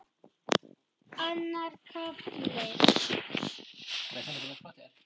Annar kafli